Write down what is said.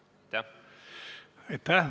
Aitäh!